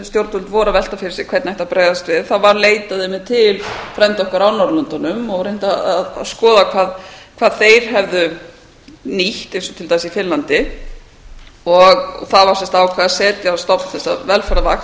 stjórnvöld voru að velta fyrir sér hvernig ætti að bregðast við var leitað einmitt til frænda okkar á norðurlöndin og reynt að skoða hvað þeir hefðu nýtt eins og til dæmis í finnlandi það var sem sagt ákveðið að setja á stofn þessa velferðarvakt þar